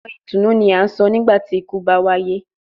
Awọn itunu ni a sọ nigbati iku ba waye